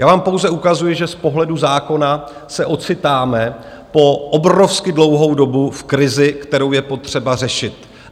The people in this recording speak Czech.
Já vám pouze ukazuji, že z pohledu zákona se ocitáme po obrovsky dlouhou dobu v krizi, kterou je potřeba řešit.